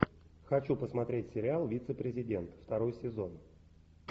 хочу посмотреть сериал вице президент второй сезон